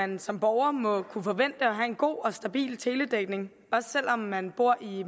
man som borger må kunne forvente at have en god og stabil teledækning også selv om man bor i